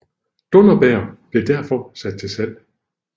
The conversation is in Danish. Dunderberg blev derfor sat til salg